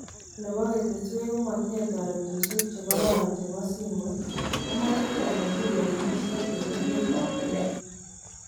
Robo nebogeteswek komotinye teretosiek chengororon chebo simoit, komwa chetonojin kolewenisiet en emet ab Kenya.